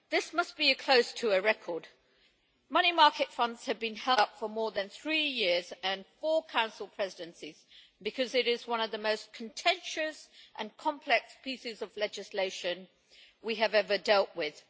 This must be close to a record money market funds have been held up for more than three years and four Council presidencies, because it is one of the most contentious and complex pieces of legislation we have ever dealt with.